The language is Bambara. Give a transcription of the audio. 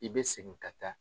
I bɛ segin ka taa.